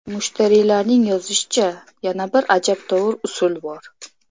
Mushtariylarning yozishicha, yana bir ajabtovur usul bor.